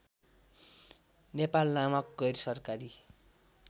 नेपाल नामक गैरसरकारी